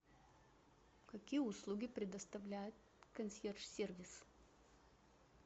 какие услуги предоставляет консьерж сервис